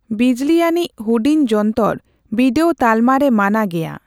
ᱵᱤᱡᱽᱞᱤᱟᱹᱱᱤᱡᱽ ᱦᱩᱰᱤᱧ ᱡᱚᱱᱛᱚᱨ ᱵᱤᱰᱟᱹᱣ ᱛᱟᱞᱢᱟ ᱨᱮ ᱢᱟᱱᱟ ᱜᱮᱭᱟ ᱾